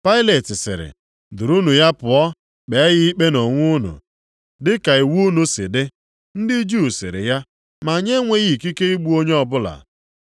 Pailet sịrị, “Durunụ ya pụọ kpee ya ikpe nʼonwe unu dị ka iwu unu si dị.” Ndị Juu sịrị ya, “Ma anyị enweghị ikike igbu onye o bụla.”